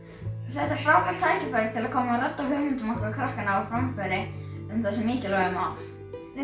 þetta er frábært tækifæri til að koma hugmyndum okkar krakkanna á framfæri um þessi mikilvægu mál við